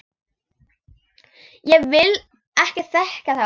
Ég vil ekki þekkja þá.